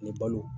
Ni balo